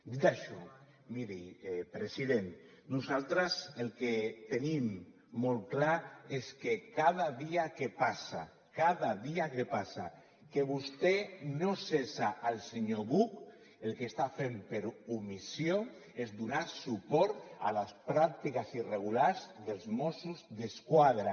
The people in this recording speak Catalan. dit això miri president nosaltres el que tenim molt clar és que cada dia que passa cada dia que passa que vostè no cessa el senyor buch el que està fent per omissió és donar suport a les pràctiques irregulars dels mossos d’esquadra